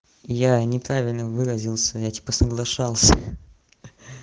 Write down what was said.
я неправильно выразился я типа соглашался